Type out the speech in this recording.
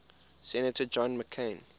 senator john mccain